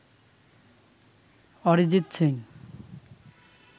Arijit Singh